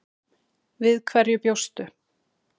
Við hverju bjóstu?